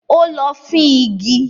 Ó lọ fín igi.